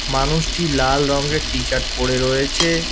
মানুষটি লাল রঙ্গের টিশার্ট পরে রয়েছে।